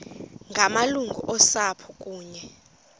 ngamalungu osapho kunye